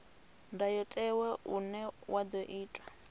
ndayotewa une wa ḓo itwa